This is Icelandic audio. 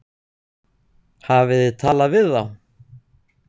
Hafið þið talað við þá?